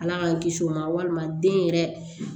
Ala k'an kisi o ma walima den yɛrɛ